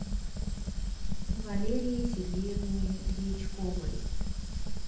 валерии сергеевне дьячковой